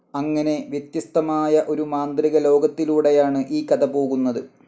അങ്ങനെ വ്യത്യസ്തമായ ഒരു മാന്ത്രികലോകത്തിലൂടെയാണ് ഈ കഥ പോകുന്നത്.